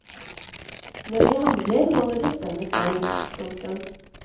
Når vi handler må vi bestemme selv. punktum